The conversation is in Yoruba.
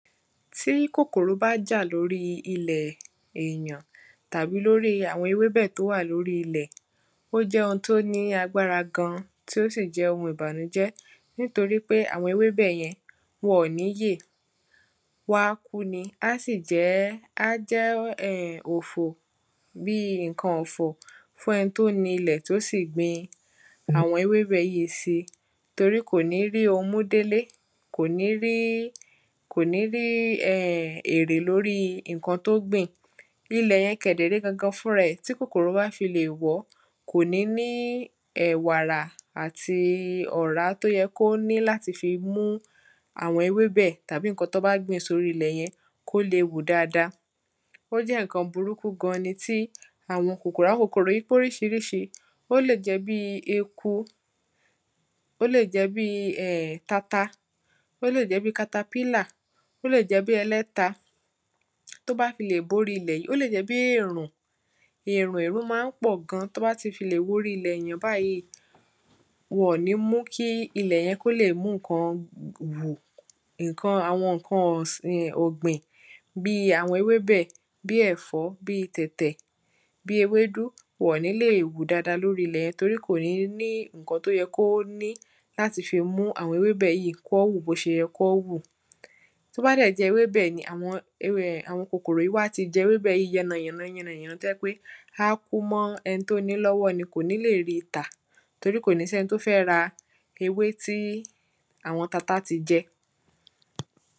Tí kòkòrò bá jà lórí ilẹ̀ èyàn tàbí lórí àwọn ewébẹ̀ tó wà lórí ilẹ̀ ó jẹ ohun tí ó ní agbára gan tí ó sì jẹ́ ohun ìbànújẹ́ nítorípé àwọn ewébẹ̀ yẹn wọn ò ní yè wọ́n á kú ni á sì jẹ́ á jẹ́ òfò fún ẹni tó ni ilẹ̀ tó sì gbin àwọn ewébẹ̀ yíì si. Torí kò ní rí ohun mú délé kò ní rí kò ní rí ẹ èrè lórí nǹkan tó gbìn. Ilẹ̀ yẹn kẹ̀dẹ̀ ré gan fúnra ẹ̀ tí kòkòrò bá fi lè wọ̀ọ́ kò ní ní ẹ wàrà àti ọ̀rá tí ó yẹ kó ní láti fi mú àwọn ewébẹ̀ tàbí nǹkan tán bá gbìn sórí ilẹ̀ yẹn kó lè wù dáada. Ó jẹ́ nǹkan burúkú gan ni tí àwọn kòkòrò àwọn kòkòrò yìí póríṣiríṣi ó lè jẹ́ bí eku ó lè jẹ́ bí um tata ó lè jẹ́ bí katapílà ó lè jẹ́ bí ẹlẹ́ta tó bá fi lè borí ilẹ̀ yìí ó lè jẹ́ bí èrùn. Èrùn èrùn má ń pọ̀ gan tó bá ti fi lè wọ orí ilẹ̀ èyàn báyìí wọn ò ní mú kí ilẹ̀ yẹn kó lè mú nǹkan nǹkan àwọn nǹkan ọ̀sìn ọ̀gbìn bí àwọn ewébẹ̀ bí ẹ̀fọ́ bí tẹ̀tẹ̀ bí ewédú wọn ò ní lè wù dáada lórí ilẹ̀ yẹn torí kò ní ní nǹkan tó yẹ kí ó ní láti fi mú àwọn ewébẹ̀ yìí kán wù bó ṣe yẹ kán wù. Tó bá dẹ̀ jẹ́ ewébẹ̀ ni àwọn kòkòrò wọ́n ti jẹ ewébẹ̀ yìí yánayàna tó jẹ́ pé á kú mọ́ eni tó ní lọ́wọ́ ni kò ní lè rí tà torí kò ní sẹni tó fẹ́ ra ewé tí àwọn tata ti jẹ.